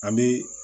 An bɛ